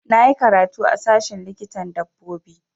Na yi karatu a sashen likitan dabbobi